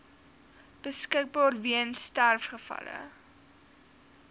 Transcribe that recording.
beskikbaar weens sterfgevalle